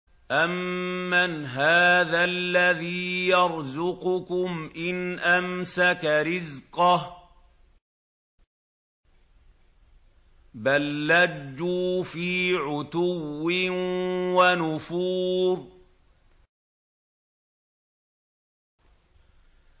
أَمَّنْ هَٰذَا الَّذِي يَرْزُقُكُمْ إِنْ أَمْسَكَ رِزْقَهُ ۚ بَل لَّجُّوا فِي عُتُوٍّ وَنُفُورٍ